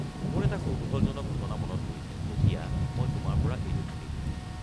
মোৰ এটা কৌতূহলজনক ঘটনা মনত পৰিছে যেতিয়া মই তোমাৰ পৰা এইটো শুনিলোঁ।